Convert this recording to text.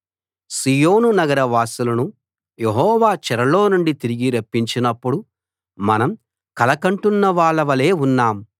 సీయోను నగరవాసులను యెహోవా చెరలో నుండి తిరిగి రప్పించినప్పుడు మనం కల కంటున్నవాళ్ళ వలే ఉన్నాం